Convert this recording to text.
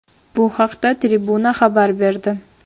Bu haqda Tribuna xabar berdi .